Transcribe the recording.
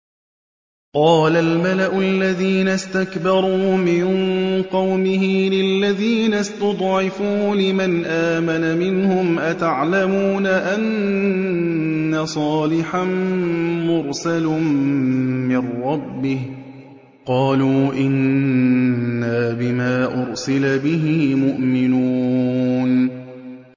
قَالَ الْمَلَأُ الَّذِينَ اسْتَكْبَرُوا مِن قَوْمِهِ لِلَّذِينَ اسْتُضْعِفُوا لِمَنْ آمَنَ مِنْهُمْ أَتَعْلَمُونَ أَنَّ صَالِحًا مُّرْسَلٌ مِّن رَّبِّهِ ۚ قَالُوا إِنَّا بِمَا أُرْسِلَ بِهِ مُؤْمِنُونَ